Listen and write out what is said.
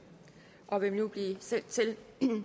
og vil nu blive sendt til